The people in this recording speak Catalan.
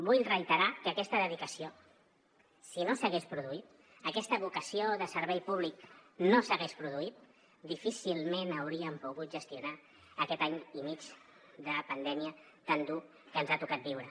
vull reiterar que aquesta dedicació si no s’hagués produït aquesta vocació de servei públic no s’hagués produït difícilment hauríem pogut gestionar aquest any i mig de pandèmia tan dur que ens ha tocat viure